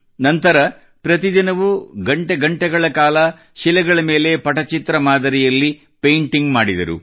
ನಂತರ ಪ್ರತಿದಿನವೂ ಗಂಟೆಗಳ ಕಾಲ ಶಿಲೆಗಳ ಮೇಲೆ ಪಚಿತ್ರ ಮಾದರಿಯಲ್ಲಿ ಪೇಂಟಿಂಗ್ ಮಾಡಿದರು